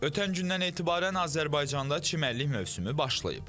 Ötən gündən etibarən Azərbaycanda çimərlik mövsümü başlayıb.